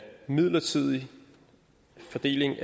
midlertidig fordeling